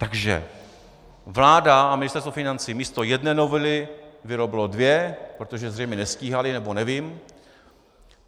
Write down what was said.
Takže vláda a Ministerstvo financí místo jedné novely vyrobilo dvě, protože zřejmě nestíhali, nebo nevím.